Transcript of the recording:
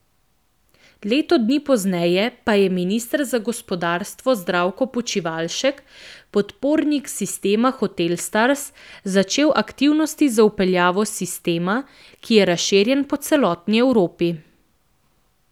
Leto dni pozneje pa je minister za gospodarstvo Zdravko Počivalšek, podpornik sistema hotelstars, začel aktivnosti za vpeljavo sistema, ki je razširjen po celotni Evropi.